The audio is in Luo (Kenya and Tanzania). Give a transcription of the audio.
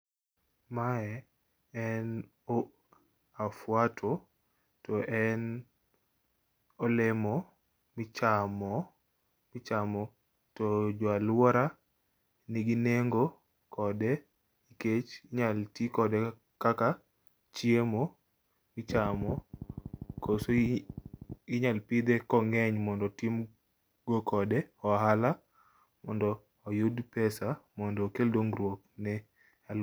Mae en o afwato to en olemo michamo michamo to joo aluora nigi nengo kode nkech nyal tii kode kaka chiemo michamo koso ii inyal pidhe kong'eny mond otim gokode ohala mondo oyud pesa mondo okel dongrwuok ne aluo.